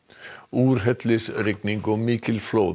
úrhellisrigning og mikil flóð